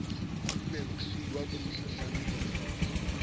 e bmosiuwa ke mohlahlami boreneng